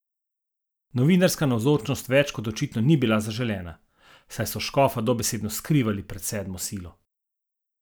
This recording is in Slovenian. Novinarska navzočnost več kot očitno ni bila zaželena, saj so škofa dobesedno skrivali pred sedmo silo.